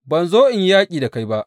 Ban zo in yi yaƙi da kai ba.